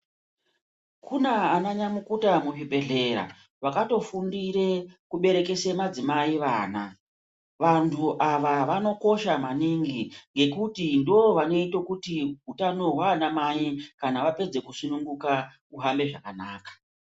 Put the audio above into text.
Kuna ana nyamukuta muzvibhedhlera vakatofundire kuberekese madzimai vana. Vantu ava vanokosha maningi ngekuti ndovanoita kuti utano hwana mai kana vapedze kusununguka ihambe zvakanaka.